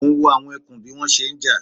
Mò ń wo àwọn ẹkùn bí wọ́n ṣe ń jà